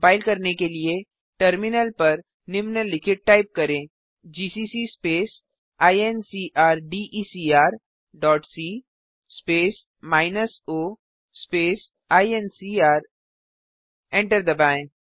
compile करने के लिए टर्मिनल पर निम्नलिखित टाइप करें GCC space incrdecr dot c space minus o space ENCR enter दबाएँ